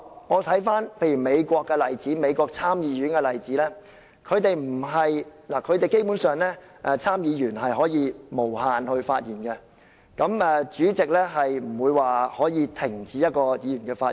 我回看美國參議院的例子，基本上參議員是可以無限次發言的，主席不能停止一名議員的發言。